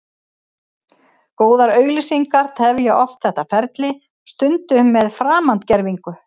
Góðar auglýsingar tefja oft þetta ferli, stundum með framandgervingu.